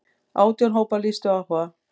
Átján hópar lýstu áhuga.